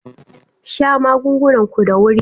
Sha magungunan ku da wuri-wuri.